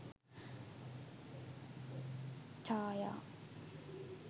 chaya